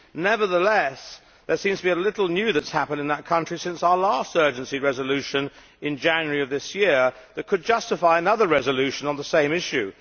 Nevertheless, there seems to be little new that has happened in that country since our last urgency resolution in January of this year that could justify another resolution on the same issue.